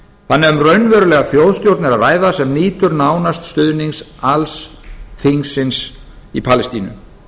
er um raunverulega þjóðstjórn að ræða sem nýtur nánast stuðnings alls þingsins í palestínu